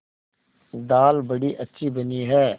दाल बड़ी अच्छी बनी है